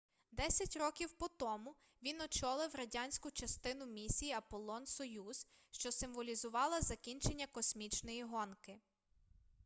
десять років по тому він очолив радянську частину місії аполлон-союз що символізувала закінчення космічної гонки